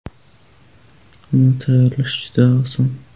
Uni tayyorlash juda oson.